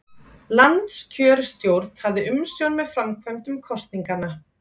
Landskjörstjórn hafði umsjón með framkvæmd kosninganna